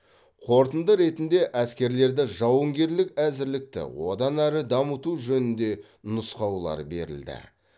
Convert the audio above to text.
қорытынды ретінде әскерлерді жауынгерлік әзірлікті одан әрі дамыту жөнінде нұсқаулар берілді